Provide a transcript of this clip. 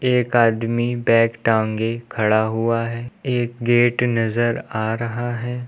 एक आदमी बैग टांगें खड़ा हुआ है एक गेट नजर आ रहा है।